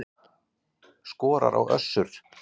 Skorar á Össur